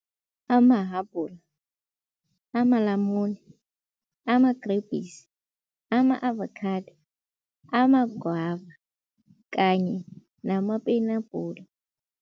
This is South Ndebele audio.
Amahabhula, amalamuni, amagrebhisi, ama-avakhado, amagwava kanye namapenabhula.